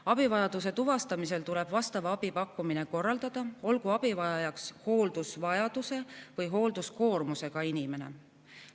Abivajaduse tuvastamisel tuleb vastava abi pakkumine korraldada, olgu abivajajaks hooldusvajadusega või hoolduskoormusega inimene.